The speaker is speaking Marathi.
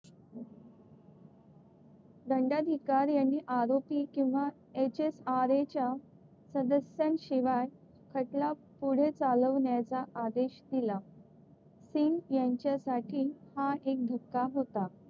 दंडाधिकारी यांनी आरोपी किंवा HSRA च्या सदस्यांशिवाय खटला पुढे चालवण्याचा आदेश दिला. सिंग यांच्यासाठी हा एक धक्का होता.